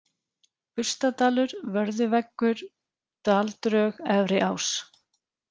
Burstadalur, Vörðuveggur, Daldrög, Efri-Ás